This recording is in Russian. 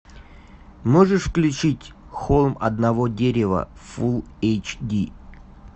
можешь включить холм одного дерева фул эйч ди